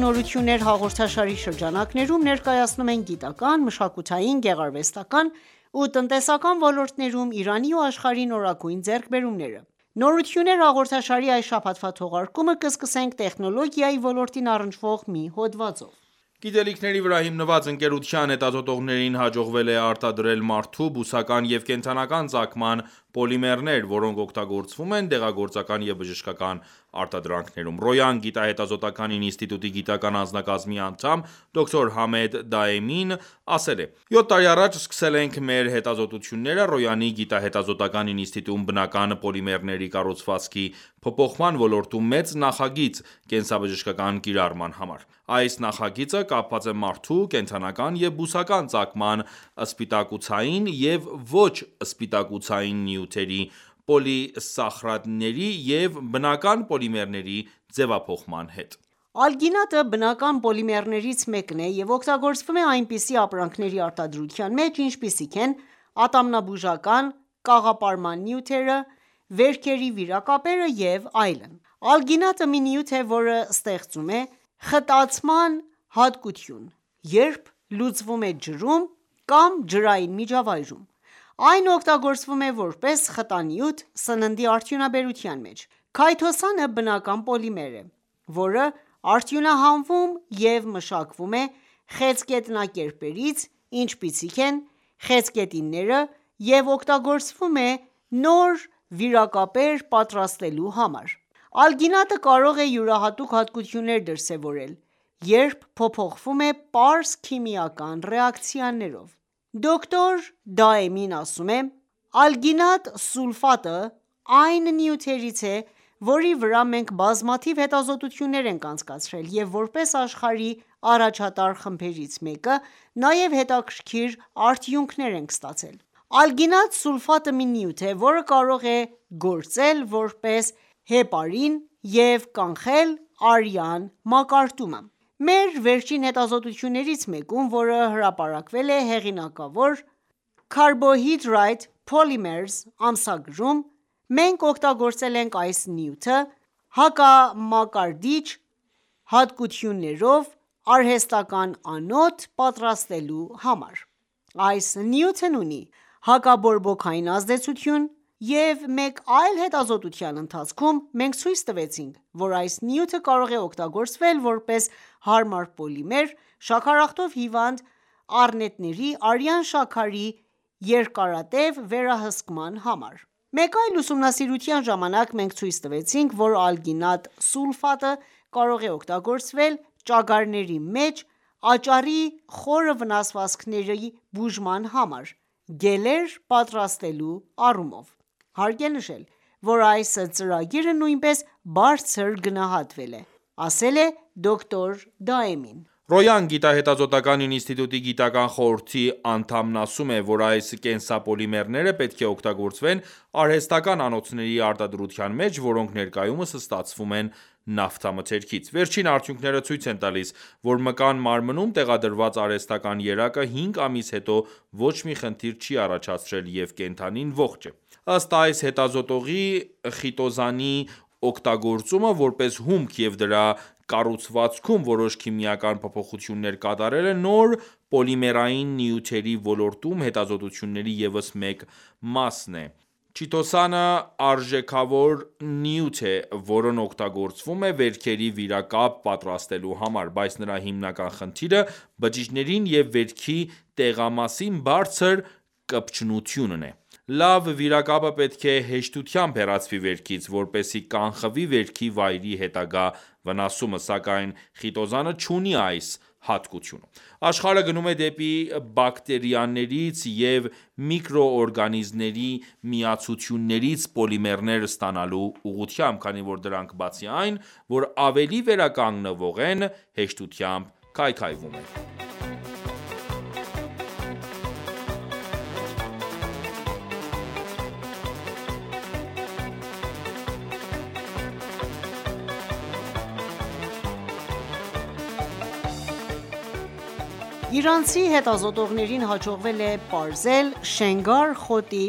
«Նորություններ» հաղորդաշարի շրջանակներում, ներկայացնում ենք գիտական, մշակութային, գեղարվեստական, ու տնտեսական ոլորտներում Իրանի ու աշխարհի նորագույն ձեռքբերումները։ «Նորություններ» հաղորդաշարի այս շաբաթվա թողարկումը կսկսենք տեխնոլոգիայի ոլորտին առնչվող մի հոդվածով։ Գիտելիքների վրա հիմնված ընկերության հետազոտողներին հաջողվել է արտադրել մարդու, բուսական և կենդանական ծագման պոլիմերներ, որոնք օգտագործվում են դեղագործական և բժշկական արտադրանքներում։ «Ռոյան» գիտահետազոտական ինստիտուտի գիտական անձնակազմի անդամ, դոկտոր Համեդ Դաեմին ասել է.«Յոթ տարի առաջ սկսել ենք մեր հետազոտությունները Ռոյանի գիտահետազոտական ինստիտուտում բնական պոլիմերների կառուցվածքի փոփոխման ոլորտում մեծ նախագիծ կենսաբժշկական կիրառման համար: Այս նախագիծը կապված է մարդու, կենդանական և բուսական ծագման սպիտակուցային և ոչ սպիտակուցային նյութերի պոլիսախարիդների և բնական պոլիմերների ձևափոխման հետ: Ալգինատը բնական պոլիմերներից մեկն է և օգտագործվում է այնպիսի ապրանքների արտադրության մեջ, ինչպիսիք են ատամնաբուժական կաղապարման նյութերը, վերքերի վիրակապերը և այլն: Ալգինատը մի նյութ է, որը ստեղծում է խտացման հատկություն, երբ լուծվում է ջրում կամ ջրային միջավայրում: Այն օգտագործվում է որպես խտանյութ սննդի արդյունաբերության մեջ։ Քայթոսանը բնական պոլիմեր է, որը արդյունահանվում և մշակվում է խեցգետնակերպերից, ինչպիսիք են խեցգետինները, և օգտագործվում է նոր վիրակապեր պատրաստելու համար: Ալգինատը կարող է յուրահատուկ հատկություններ դրսևորել, երբ փոփոխվում է պարզ քիմիական ռեակցիաներով: Դոկտոր Դաեմին ասում է.« Ալգինատ սուլֆատը այն նյութերից է, որի վրա մենք բազմաթիվ հետազոտություններ ենք անցկացրել, և որպես աշխարհի առաջատար խմբերից մեկը՝ նաև հետաքրքիր արդյունքներ ենք ստացել:Ալգինատ սուլֆատը մի նյութ է, որը կարող է գործել որպես հեպարին և կանխել արյան մակարդումը: Մեր վերջին հետազոտություններից մեկում, որը հրապարակվել է հեղինակավոր Carbohydrate Polymers ամսագրում, մենք օգտագործել ենք այս նյութը հակամակարդիչ հատկություններով արհեստական անոթ պատրաստելու համար:Այս նյութն ունի հակաբորբոքային ազդեցություն, և մեկ այլ հետազոտության ընթացքում մենք ցույց տվեցինք, որ այս նյութը կարող է օգտագործվել որպես հարմար պոլիմեր շաքարախտով հիվանդ առնետների արյան շաքարի երկարատև վերահսկման համար: Մեկ այլ ուսումնասիրության ժամանակ մենք ցույց տվեցինք, որ ալգինատ սուլֆատը կարող է օգտագործվել ճագարների մեջ աճառի խորը վնասվածքների բուժման համար գելեր պատրաստելու համար: Հարկ է նշել, որ այս ծրագիրը նույնպես բարձր գնահատվել է», ասել է Դոկտոր Դաեմին ասում։ «Ռոյան» գիտահետազոտական ինստիտուտի գիտական խորհրդի խորհրդի անդամն ասում է, որ այս կենսապոլիմերները պետք է օգտագործվեն արհեստական անոթների արտադրության մեջ, որոնք ներկայումս ստացվում են նավթամթերքից։ Վերջին արդյունքները ցույց են տալիս, որ մկան մարմնում տեղադրված արհեստական երակը 5 ամիս հետո ոչ մի խնդիր չի առաջացրել, և կենդանին ողջ է։ Ըստ այս հետազոտողի, խիտոզանի օգտագործումը որպես հումք և դրա կառուցվածքում որոշ քիմիական փոփոխություններ կատարելը նոր պոլիմերային նյութերի ոլորտում հետազոտությունների ևս մեկ մասն է: Chitosan-ը արժեքավոր նյութ է, որն օգտագործվում է վերքերի վիրակապ պատրաստելու համար: Բայց նրա հիմնական խնդիրը բջիջներին և վերքի տեղամասին բարձր կպչունությունն է: Լավ վիրակապը պետք է հեշտությամբ հեռացվի վերքից, որպեսզի կանխվի վերքի վայրի հետագա վնասումը, սակայն խիտոզանը չունի այս հատկությունը: Աշխարհը գնում է դեպի բակտերիաներից և միկրոօրգանիզմների միացություններից պոլիմերներ ստանալու ուղղությամբ, քանի որ դրանք բացի այն, որ ավելի վերականգնվող են հեշտությամբ քայքայվում են: Իրանցի հետազոտողներին հաջողվել է պարզել Շենգար (Alkanna bracteosa) խոտի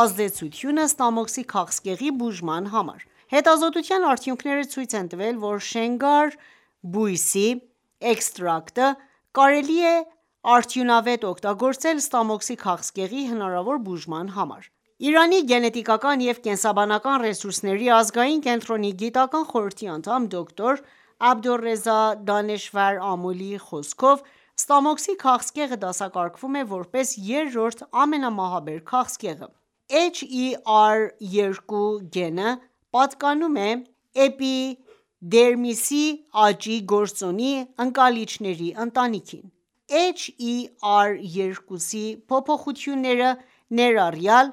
ազդեցությունը ստամոքսի քաղցկեղի բուժման համար։ Հետազոտության արդյունքները ցույց են տվել, որ Շենգար բույսի էքստրակտը (Alkanna bracteosa) կարելի է արդյունավետ օգտագործել ստամոքսի քաղցկեղի հնարավոր բուժման համար։ Իրանի գենետիկական և կենսաբանական ռեսուրսների ազգային կենտրոնի գիտական խորհրդի անդամ, դոկտոր Աբդոլռեզա Դանեշվար Ամոլիի խոսքով, ստամոքսի քաղցկեղը դասակարգվում է որպես երրորդ ամենամահաբեր քաղցկեղը: HER2 գենը պատկանում է էպիդերմիսի աճի գործոնի ընկալիչների ընտանիքին: HER2 փոփոխությունները, ներառյալ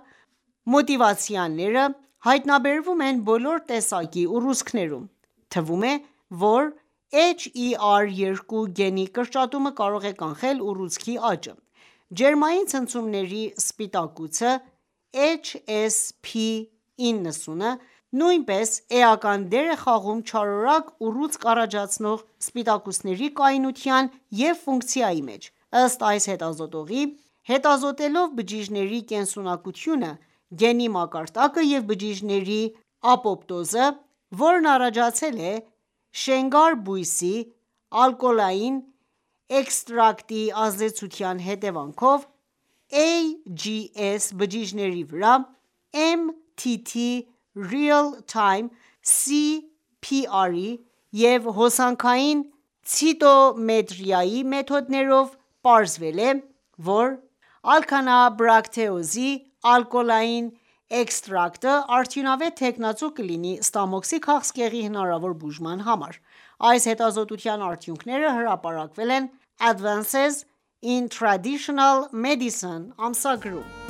մուտացիաները, հայտնաբերվում են բոլոր տեսակի ուռուցքներում: Թվում է, որ HER2 գենի կրճատումը կարող է կանխել ուռուցքի աճը: Ջերմային ցնցումների սպիտակուցը HSP90 նույնպես էական դեր է խաղում չարորակ ուռուցք առաջացնող սպիտակուցների կայունության և ֆունկցիայի մեջ: Ըստ այս հետազոտողի, հետազոտելով բջիջների կենսունակությունը, գենի մակարդակը և բջիջների ապոպտոզը, որն առաջացել է Շենգար բույսի ալկոհոլային էքստրակտի ազդեցության հետևանքով AGS բջիջների վրա MTT Real Time PCR և հոսքային ցիտոմետրիայի մեթոդներով, պարզվել է, որ Alkanna bracteosa-ի ալկոհոլային էքստրակտը արդյունավետ թեկնածու կլինի ստամոքսի քաղցկեղի հնարավոր բուժման համար: Այս հետազոտության արդյունքները հրապարակվել են «Advances in Traditional Medicine» ամսագրում։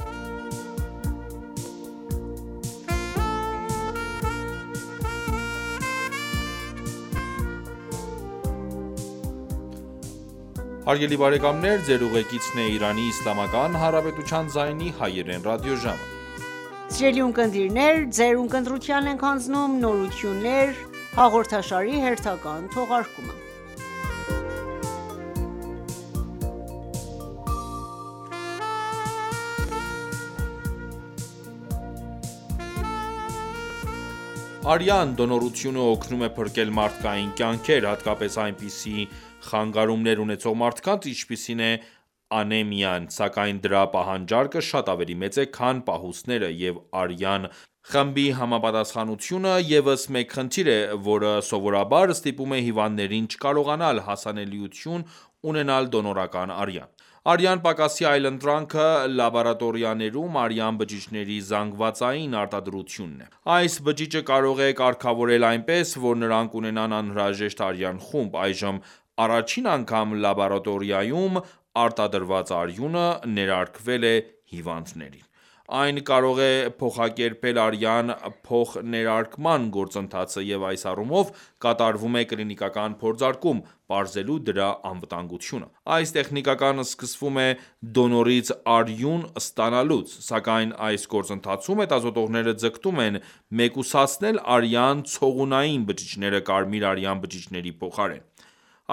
Արյան դոնորությունը օգնում է փրկել մարդկային կյանքեր, հատկապես այնպիսի խանգարումներ ունեցող մարդկանց, ինչպիսին է անեմիան, սակայն դրա պահանջարկը շատ ավելի մեծ է, քան պահուստները, և արյան խմբի համապատասխանությունը ևս մեկ խնդիր է, որը սովորաբար ստիպում է հիվանդներին չկարողանալ հասանելություն ունենալ դոնորական արյան: Արյան պակասի այլընտրանքը լաբորատորիաներում արյան բջիջների զանգվածային արտադրությունն է: Այս բջիջը կարող է կարգավորվել այնպես, որ նրանք ունենան անհրաժեշտ արյան խումբ: Այժմ առաջին անգամ լաբորատորիայում արտադրված արյունը ներարկվել է հիվանդներին։ Այն կարող է փոխակերպել արյան փոխներարկման գործընթացը, և այս առումով կատարվում է կլինիկական փորձարկում՝ պարզելու դրա անվտանգությունը։ Այս տեխնիկան սկսվում է դոնորից արյուն ստանալուց: Սակայն այս գործընթացում հետազոտողները ձգտում են մեկուսացնել արյան ցողունային բջիջները կարմիր արյան բջիջների փոխարեն: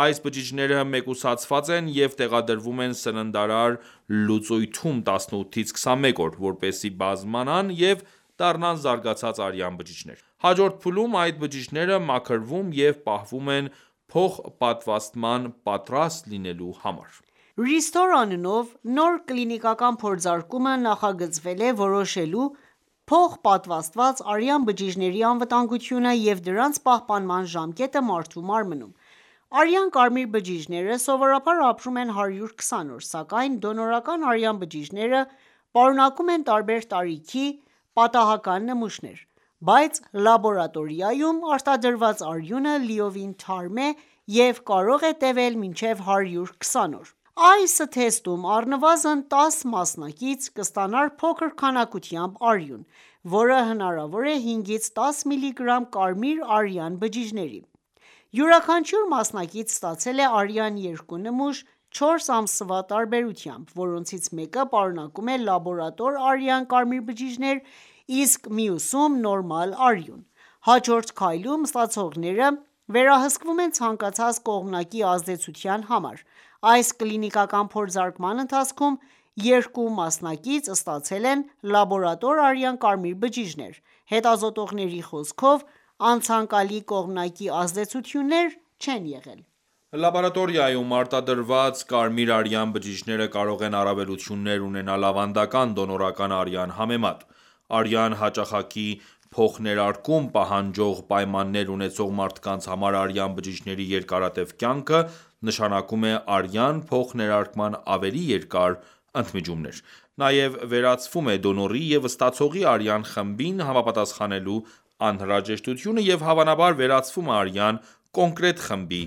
Այս բջիջները մեկուսացված են և տեղադրվում են սննդարար լուծույթում 18-ից 21 օր, որպեսզի, բազմանան և դառնան զարգացած արյան բջիջներ: Հաջորդ փուլում այդ բջիջները մաքրվում և պահվում են փոխպատվաստման պատրաստ լինելու համար: RESTORE անունով նոր կլինիկական փորձարկումը նախագծվել է՝ որոշելու փոխպատվաստված արյան բջիջների անվտանգությունը և դրանց պահպանման ժամկետը մարդու մարմնում: Արյան կարմիր բջիջները սովորաբար ապրում են 120 օր, սակայն դոնորական արյան բջիջները պարունակում են տարբեր տարիքի պատահական նմուշներ: Բայց լաբորատորիայում արտադրված արյունը լիովին թարմ է և կարող է տեւել մինչև 120 օր: Այս թեստում առնվազն 10 մասնակից կստանան փոքր քանակությամբ արյուն, որը հավասար է 5-ից 10 միլիգրամ կարմիր արյան բջիջների: Յուրաքանչյուր մասնակից ստացել է արյան 2 նմուշ՝ 4 ամսվա տարբերությամբ, որոնցից մեկը պարունակում էր լաբորատոր արյան կարմիր բջիջներ, իսկ մյուսում՝ նորմալ արյուն։ Հաջորդ քայլում ստացողները վերահսկվում են ցանկացած կողմնակի ազդեցության համար: Այս կլինիկական փորձարկման ընթացքում 2 մասնակից ստացել են լաբորատոր արյան կարմիր բջիջներ։ Հետազոտողների խոսքով՝ անցանկալի կողմնակի ազդեցություններ չեն եղել։ Լաբորատորիայում արտադրված կարմիր արյան բջիջները կարող են առավելություններ ունենալ ավանդական դոնորական արյան համեմատ: Արյան հաճախակի փոխներարկում պահանջող պայմաններ ունեցող մարդկանց համար արյան բջիջների երկարատև կյանքը նշանակում է արյան փոխներարկման ավելի երկար ընդմիջումներ: Նաև վերացվում է դոնորի և ստացողի արյան խմբին համապատասխանելու անհրաժեշտությունը, և հավանաբար վերացվում է արյան կոնկրետ խմբի